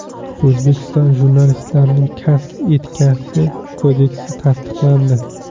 O‘zbekiston jurnalistlarining kasb etikasi kodeksi tasdiqlandi.